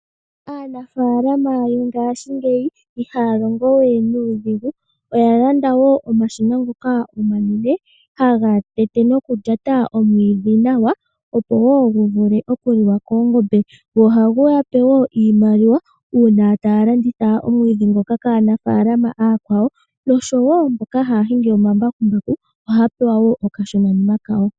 Aanafaalama mongashingeya ihaya longo we nuudhigu ohaya landa woo omashina ngoka omanene haga tete noku lyata omwiidhi nawa opo gu vule okuliwa koongombe go ohagu yape woo iimaliwa uuna taya longitha omwiidhi nguka kaanafaalama aakwawo oshowo mboka haya hingi omambakumbu ohaya pewa woo okashona kawo.